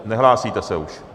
Nehlásíte se už.